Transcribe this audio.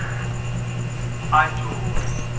ajoni